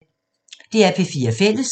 DR P4 Fælles